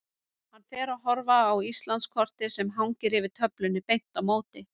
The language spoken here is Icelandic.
Hann fer að horfa á Íslandskortið sem hangir yfir töflunni beint á móti.